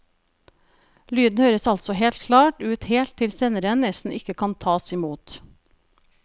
Lyden høres altså helt klar ut helt til senderen nesten ikke kan tas imot.